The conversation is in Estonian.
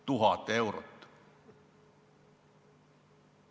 1000 eurot!